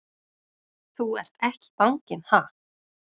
Þú ert ekki banginn, ha!